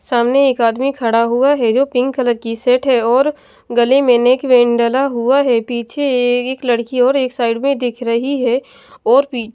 सामने एक आदमी खड़ा हुआ है जो पिंक कलर की सेट है और गले में नेक वेन डला हुआ है पीछे एए एक लड़की और एक साइड में दिख रही है और पी --